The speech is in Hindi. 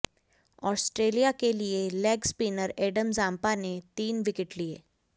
आस्ट्रेलिया के लिए लेग स्पिनर एडम जाम्पा ने तीन विकेट लिए